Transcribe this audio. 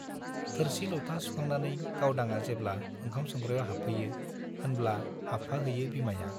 थोरसि - लथा सुखांनानै गावदांआ जेब्ला ओंखाम संग्रायाव हाबफैयो होनब्ला हाबफा हैयो बिमाया ।